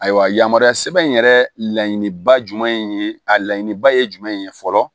Ayiwa yamaruya sɛbɛn in yɛrɛ laɲiniba jumɛn ye a laɲiniba ye jumɛn ye fɔlɔ